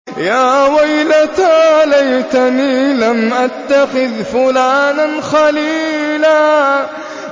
يَا وَيْلَتَىٰ لَيْتَنِي لَمْ أَتَّخِذْ فُلَانًا خَلِيلًا